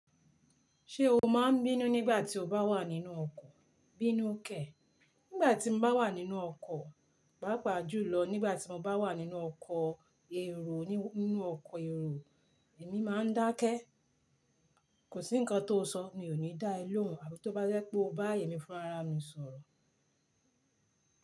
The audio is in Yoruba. Ṣé o máa ń bínú nígbà tí o bá wà nínú ọkọ̀? Bí nù kẹ nígbàtí mo bá wà nínú ọkọ̀, pàápa julọ nígbà tí mo bá wà nínú ọkọ̀ èrò, èmi máa ń dákẹ́. Kò sí ǹkan tó sọ, mi ò ní dá ẹ lóhùn àbí tó bá jẹ́ pé o bá èmí fúnra ra mi sọ̀rọ̀.